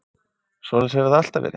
Svoleiðis hefur það alltaf verið.